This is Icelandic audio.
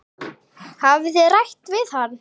Hafið þið rætt við hann?